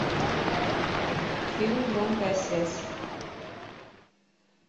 фильм громкая связь